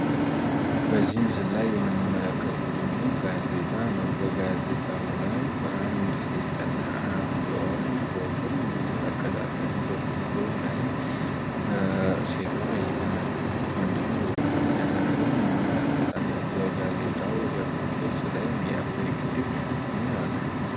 በዚህ ምስል ላይ የምንመለከተው ደግሞ ጋዜጣ ነው። ጋዜጣው ላይ አንድ ሴትና አንድ ወንድ ፎቶን እንመለከታለን በፎቶ ላይም ሴቱዋ እየተናገረች ወንድየው ሪፖርት እየደረገ እንመለከታለን። በጋዜጣው የፊት ገጽ ላይ የአባይ ግድብን እናያለን።